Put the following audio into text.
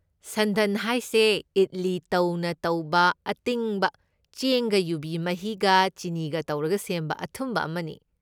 ꯁꯟꯗꯟ ꯍꯥꯏꯁꯦ ꯏꯗꯂꯤ ꯇꯧꯅ ꯇꯧꯕ ꯑꯇꯤꯡꯕ ꯆꯦꯡꯒ ꯌꯨꯕꯤ ꯃꯍꯤꯒ ꯆꯤꯅꯤꯒ ꯇꯧꯔꯒ ꯁꯦꯝꯕ ꯑꯊꯨꯝꯕ ꯑꯃꯅꯤ꯫